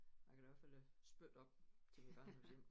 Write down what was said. Jeg kan da i hvert fald spytte op til mit barndomshjem